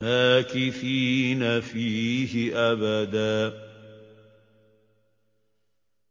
مَّاكِثِينَ فِيهِ أَبَدًا